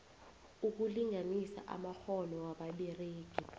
ukulinganisa amakghono wababeregi